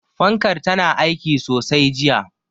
Fankar tana aiki sosai jiya.